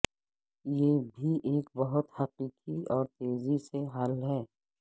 یہ بھی ایک بہت حقیقی اور تیزی سے حل ہے